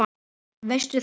Veist þú það?